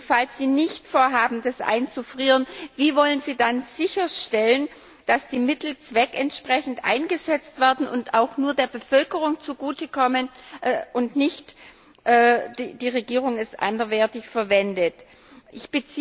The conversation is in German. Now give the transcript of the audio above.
Falls Sie nicht vorhaben, das einzufrieren, wie wollen Sie dann sicherstellen, dass die Mittel zweckentsprechend eingesetzt werden und auch nur der Bevölkerung zugutekommen und nicht von der Regierung anderweitig verwendet werden?